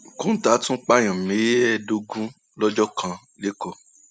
kọńtà tún pààyàn mẹẹẹdógún lọjọ kan lẹkọọ